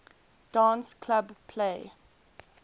dance club play